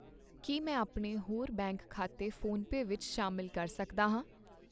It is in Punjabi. ਕੀ ਮੈਂ ਆਪਣੇ ਹੋਰ ਬੈਂਕ ਖਾਤੇ ਫ਼ੋਨਪੇ ਵਿੱਚ ਸ਼ਾਮਿਲ ਕਰ ਸਕਦਾ ਹਾਂ ?